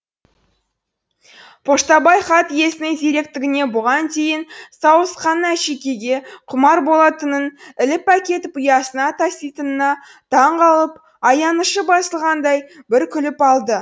поштабай хат иесінің зеректігіне бұған дейін сауысқанның әшекейге құмар болатынын іліп әкетіп ұясына таситынына таңғалып аянышы басылғандай бір күліп алды